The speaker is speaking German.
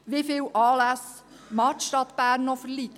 Wie viele Anlässe mag die Stadt Bern noch ertragen?